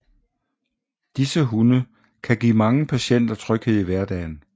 Disse hunde kan give mange patienter tryghed i hverdagen